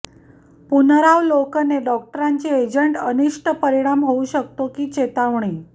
पुनरावलोकने डॉक्टरांची एजंट अनिष्ट परिणाम होऊ शकतो की चेतावणी